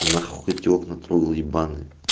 нахуй эти окна трогал ебаные